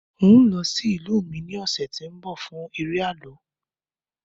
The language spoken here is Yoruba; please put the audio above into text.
n o lọ sí ìlú mi ni ọsẹ ti nbọ fún eré àlọ